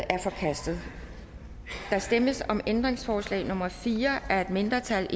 er forkastet der stemmes om ændringsforslag nummer fire af et mindretal